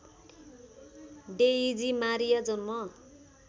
Daisy Maria जन्म